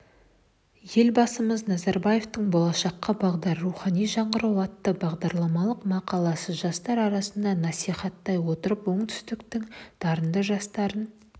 елбасымыз назарбаевтың болашаққа бағдар рухани жаңғыру атты бағдарламалық мақаласын жастар арасында насихаттай отырып оңтүстіктің дарынды жастарын